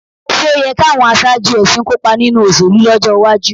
Ṣé ó yẹ káwọn aṣáájú ẹ̀sìn kópa nínú ìṣèlú lọ́jọ́ iwájú?